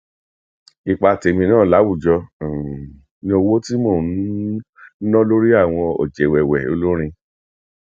ipa tèmi náà láwùjọ um ni owó tí mò ń um ná lórí àwọn ọjẹwẹwẹ olórin